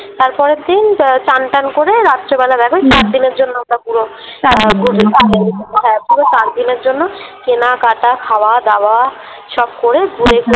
তারপরের দিন চান টান করে রাত্রেবেলা ওই চারদিনের জন্য ওটা পুরো । হ্যাঁ পুরো চারদিনের জন্য কেনাকাটা খাওয়া দাওয়া সব করে ঘুরে টুরে